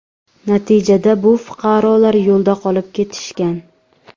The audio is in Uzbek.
Natijada bu fuqarolar yo‘lda qolib ketishgan.